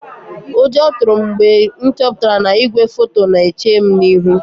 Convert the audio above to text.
Ụjọ tụrụ m mgbe m chọpụtara na igwefoto Bank na-eche m ihu.